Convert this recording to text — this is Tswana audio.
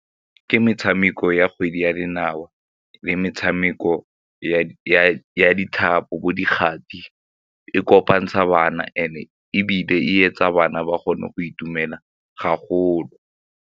Ke metshameko ya kgwele ya dinao le metshameko ya ditlhapo bo dikgati, e kopantsha bana and-e ebile e etsa bana ba kgone go itumela haholo.